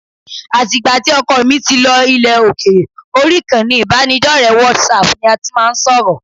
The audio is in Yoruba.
Àti ìgbà tí ọkọ mi ti lọ ilẹ̀ òkèèrè, orí ìkànnì ìbánidọ́rẹ̀ẹ́ WhatsApp ni a tí máa ń sọ̀rọ̀